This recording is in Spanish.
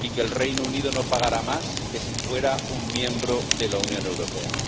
y que el Reino Unido no pagará más que si fuera un miembro de la Unión Europea.